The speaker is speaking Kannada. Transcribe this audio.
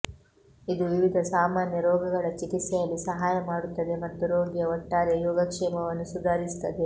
ಇದು ವಿವಿಧ ಸಾಮಾನ್ಯ ರೋಗಗಳ ಚಿಕಿತ್ಸೆಯಲ್ಲಿ ಸಹಾಯ ಮಾಡುತ್ತದೆ ಮತ್ತು ರೋಗಿಯ ಒಟ್ಟಾರೆ ಯೋಗಕ್ಷೇಮವನ್ನು ಸುಧಾರಿಸುತ್ತದೆ